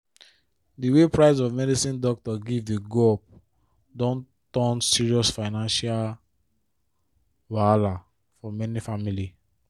di way price of medicine doctor give dey go up don turn serious financial wahala for many families